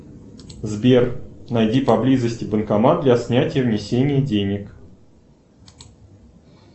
сбер найди поблизости банкомат для снятия внесения денег